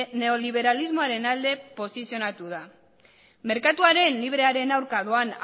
neoliberalismoaren alde posizionatu da merkatuaren librearen aurka doan